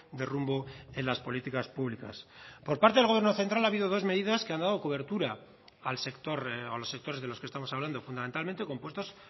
de rumbo en las políticas públicas por parte del gobierno central ha habido dos medidas que han dado cobertura al sector o los sectores de los que estamos hablando fundamentalmente compuestos